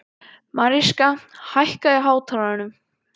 Mariska, hækkaðu í hátalaranum.